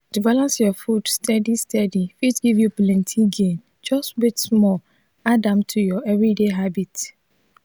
to balance your food steady steady fit give you plenty gain just wait small add am to your everyday habit.